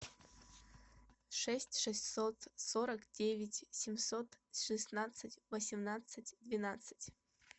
шесть шестьсот сорок девять семьсот шестнадцать восемнадцать двенадцать